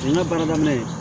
O ye n ka baara daminɛ ye